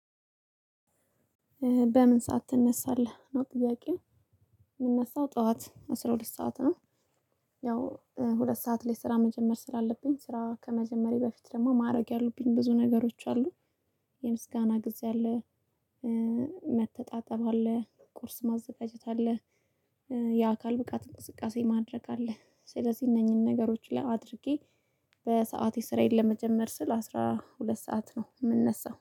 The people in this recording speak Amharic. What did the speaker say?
በምን ሰዓት ትነሳለህ ነው ጥያቄው? የምነሳው ጠዋት አስራ ሁለት ሰዓት ነው። ያው ሁለት ሰዓት ላይ ስራ መጀመር ስላለብኝ ስራ ከመጀመሬ በፊት ደግሞ ማድረግ ያሉብኝ ብዙ ነገሮች አሉ። የምስጋና ጊዜ አለ። መተጣጠብ አለ ቁርስ ማዘጋጀት አለ። የአካል ብቃት እንቅስቃሴ ማድረግ አለ ስለዚህ እነኚህን ነገሮች ላይ አድርጌ በሰአቴ ስራዬን ለመጀመር ስል አስራ ሁለት ሰዓት ነው የምንነሳው